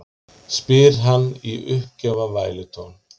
spyr hann í uppgjafar vælutón.